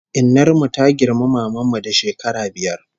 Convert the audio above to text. Innar mu ta girmi maman mu da shekara biyar